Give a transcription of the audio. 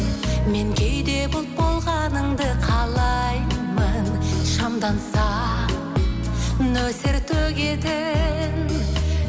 мен кейде бұлт болғаныңды қалаймын шамданса нөсер төгетін